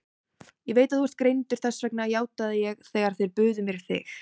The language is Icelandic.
Ég veit að þú ert greindur, þess vegna játaði ég þegar þeir buðu mér þig.